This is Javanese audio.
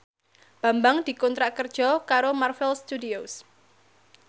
Bambang dikontrak kerja karo Marvel Studios